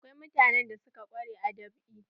Akwai mutanen da suka ƙware a dab'i.